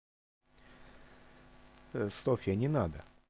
ээ софья не надо